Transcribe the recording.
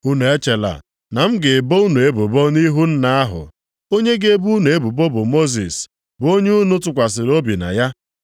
“Unu echela na m ga-ebo unu ebubo nʼihu Nna ahụ. Onye ga-ebo unu ebubo bụ Mosis, bụ onye unu tụkwasịrị obi na ya.